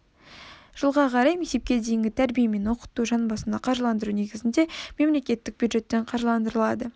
жылға қарай мектепке дейінгі тәрбие мен оқыту жан басына қаржыландыру негізінде мемлекеттік бюджеттен қаржыландырылады